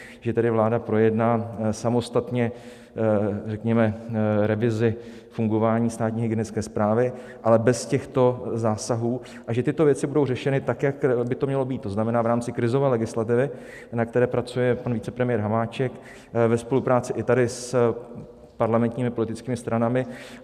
Že tedy vláda projedná samostatně, řekněme, revizi fungování státní hygienické správy, ale bez těchto zásahů, a že tyto věci budou řešeny tak, jak by to mělo být, to znamená v rámci krizové legislativy, na které pracuje pan vicepremiér Hamáček ve spolupráci i tady s parlamentními politickými stranami.